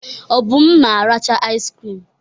Obum na-aracha iz krim.